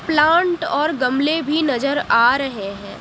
Plant और गमले भी नजर आ रहे हैं।